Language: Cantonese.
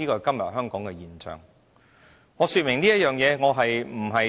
主席，我說明這些，並非